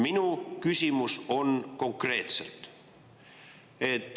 Minu küsimus on konkreetne.